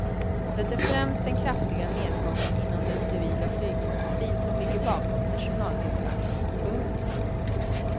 Det är främst den kraftiga nedgången inom den civila flygindustrin som ligger bakom personalnedskärningen. punkt